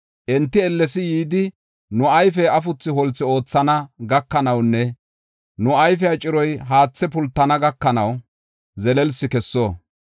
Enti ellesidi yidi, nu ayfey afuthu holthu oothana gakanawunne nu ayfiya ciroy haathe pultana gakanaw zelelsi kesso.